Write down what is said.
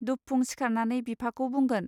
दुबफुं सिखारनानै बिफाखौ बुंगोन.